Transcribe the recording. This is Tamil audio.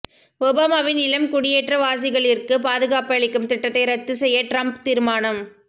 ஒபாமாவின் இளம் குடியேற்றவாசிகளிற்கு பாதுகாப்பளிக்கும் திட்டத்தை ரத்து செய்ய டிரம்ப் தீர்மானம்